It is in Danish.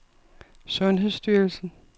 sundhedsstyrelsen